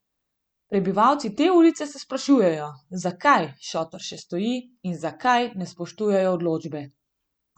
Prebivalci te ulice se sprašujejo, zakaj šotor še stoji in zakaj ne spoštujejo odločbe.